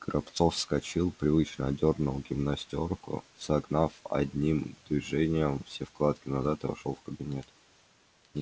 горобцов вскочил привычно одёрнул гимнастёрку согнав одним движением все складки назад и вошёл в кабинет